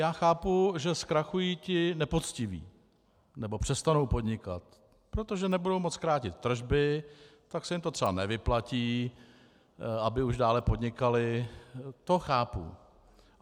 Já chápu, že zkrachují ti nepoctiví nebo přestanou podnikat, protože nebudou moci krátit tržby, tak se jim to třeba nevyplatí, aby už dále podnikali, to chápu.